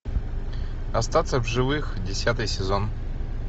остаться в живых десятый сезон